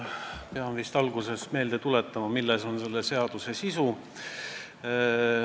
Pean alguses vist meelde tuletama, milles on selle seaduse sisu.